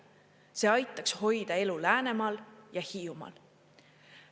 See aitaks hoida elu Läänemaal ja Hiiumaal.